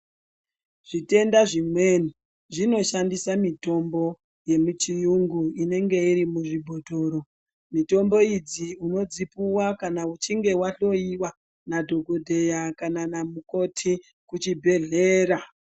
Zvitenda zvimweni zvinoshandisa mitombo yemuchiyungu inenge irimuzvibhotoro. Mitombo idzi unodzipuwa kana uchinge wahloyiwa nadhogodheya nanamukoti kuchibhedhlera.